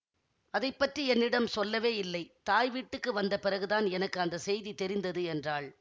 அதை பற்றி என்னிடம் சொல்லவே இல்லை தாய் வீட்டுக்கு வந்த பிறகுதான் எனக்கு அந்த செய்தி தெரிந்தது என்றாள்